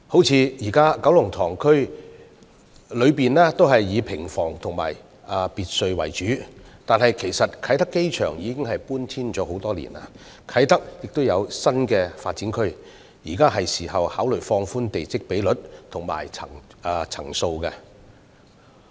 舉例而言，現時九龍塘區內以平房及別墅為主，但其實啟德機場已搬遷多年，而啟德亦有新發展區，現在是時候考慮放寬地積比率和層數。